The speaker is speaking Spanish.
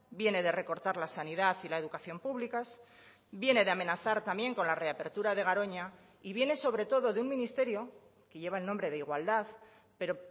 viene de recortar la sanidad y la educación públicas viene de amenazar también con la reapertura de garoña y viene sobre todo de un ministerio que lleva el nombre de igualdad pero